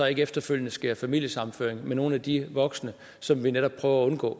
ikke efterfølgende sker familiesammenføring med nogle af de voksne som vi netop prøver at undgå